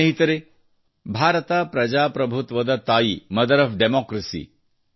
ಸ್ನೇಹಿತರೇ ಭಾರತ ಪ್ರಜಾಪ್ರಭುತ್ವದ ತಾಯಿ ಮದರ್ ಒಎಫ್ ಡೆಮೊಕ್ರಸಿ